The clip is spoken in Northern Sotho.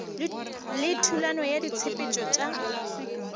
le thulano ya ditshepetšo tša